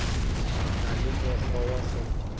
na le mokgwa wa go